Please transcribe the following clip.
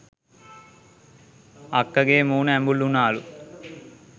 අක්කගෙ මූණ ඇඹුල් උනාලු